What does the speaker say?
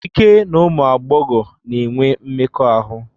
Ike n'ụmụ agbọghọ na-enwe mmekọahụ.